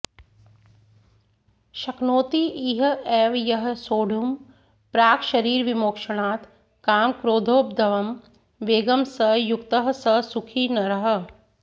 शक्नोति इह एव यः सोढुं प्राक्शरीरविमोक्षणात् कामक्रोधोद्भवं वेगं स युक्तः स सुखी नरः